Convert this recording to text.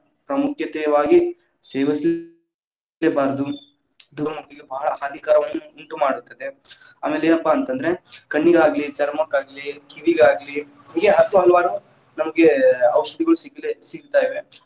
ಪ್ರಾಮುಖ್ಯತೆಯವಾಗಿ ಸೇವಸಿ, ಬಾರದು. ಧೂಮಪಾನ ಭಾಳ ಹಾನಿಕರವನ್ನು ಉಂಟುಮಾಡುತ್ತದೆ, ಆಮೇಲೆ ಏನಪ್ಪಾ ಅಂತಂದ್ರೆ ಕಣ್ಣಿಗಾಗ್ಲಿ ಚರ್ಮಕ್ಕಾಗ್ಲಿ, ಕಿವಿಗಾಗ್ಲಿ, ಹೀಗೆ ಹತ್ತು ಹಲವಾರು ನಮಗೆ ಔಷಧಿಗಳು ಸಿಗಲೆ ಸಿಗ್ತಾವೆ.